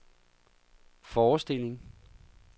forestilling